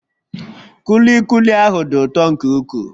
Kulikuli ahụ dị ụtọ nke ukwuu